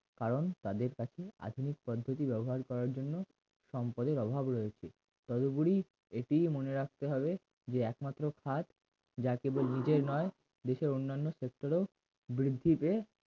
কারণ তাদের কাছে আধুনিক পদ্ধতি ব্যবহার করার জন্য সম্পদের অভাব রয়েছে কতগুলি এটিই মনে রাখতে হবে যে একমাত্র কাজ যা কেবল নিজের নয় দেশের অন্যান্য ক্ষেত্রেও বৃদ্ধিতে